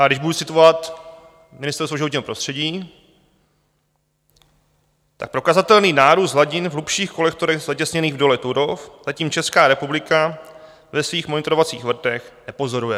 A když budu citovat Ministerstvo životního prostředí, tak prokazatelný nárůst hladin v hlubších kolektorech zatěsněných v dole Turów zatím Česká republika ve svých monitorovacích vrtech nepozoruje.